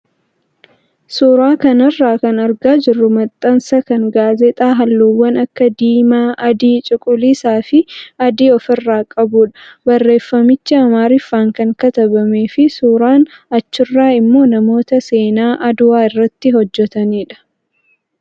Suuraa kanarraa kan argaa jirru maxxansa kan gaazexaa halluuwwan akka diimaa, adii , cuquliisaa fi adii ofirraa qabudha. Barreeffamichi amaariffaan kan katabamee fi suuraan achirraa immoo namoota seenaa adawaa irratti hojjatanidha.